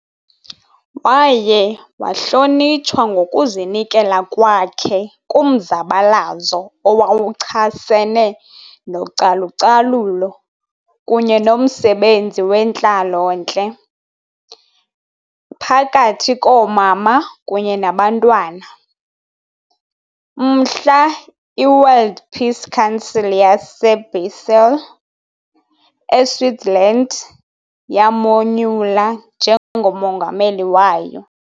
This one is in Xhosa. Waye wahlonitshwa ngokuzinikela kwakhe kumzabalazo owawuchasene nocalu-calulo kunye nomsebenzi wentlalo-ntle phakathi koomama kunye nabantwana, mhla i- World Peace Council yase- Basel, e- Switzerland yamonyula njengo mongameli wayo.